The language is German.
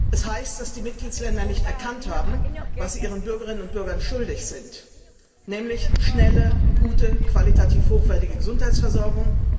Das heißt, dass die Mitgliedstaaten nicht erkannt haben, was sie ihren Bürgerinnen und Bürgern schuldig sind, nämlich schnelle, gute und qualitativ hochwertige Gesundheitsversorgung.